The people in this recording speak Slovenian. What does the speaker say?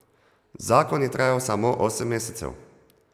Zakon je trajal samo osem mesecev.